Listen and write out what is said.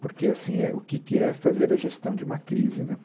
Porque, assim, é, o que que é fazer a gestão de uma crise, né?